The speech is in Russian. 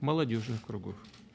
молодёжных округов